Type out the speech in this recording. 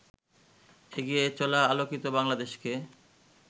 এগিয়ে চলা আলোকিত বাংলাদেশকে